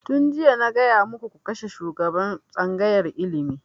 Tun jiya na gaya muku ku kashe shugaban tsangayar ilimi!